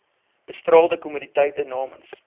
bestraalde kommoditeite namens